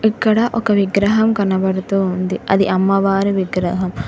ఇక్కడ ఒక విగ్రహం కనబడుతూ ఉంది అది అమ్మవారి విగ్రహం.